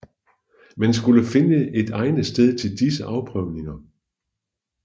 Man skulle finde et egnet sted til disse afprøvninger